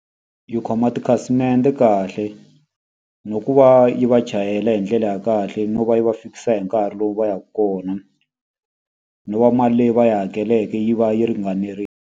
Yi khoma tikhasimende kahle, na ku va yi va chayela hi ndlela ya kahle no va yi va fikisa hi nkarhi lowu va yaka kona. No va mali leyi va yi hakeleke yi va yi ringanerile.